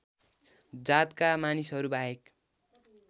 जातका मानिसहरू बाहेक